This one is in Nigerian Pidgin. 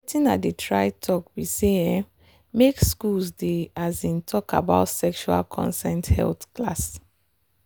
watin i dey try talk be say um make school dey um talk about sexual consent health class.